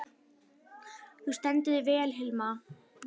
Þú stendur þig vel, Hilma!